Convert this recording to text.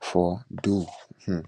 fordow um